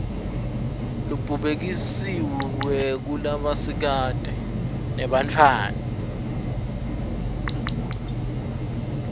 lobubhekiswe kulabasikati nebantfwana